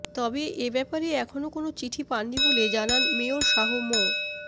তবে এ ব্যাপারে এখনো কোনো চিঠি পাননি বলে জানান মেয়র শাহ মো